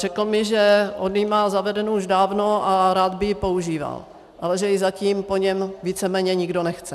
Řekl mi, že on ji má zavedenou už dávno a rád by ji používal, ale že ji zatím po něm víceméně nikdo nechce.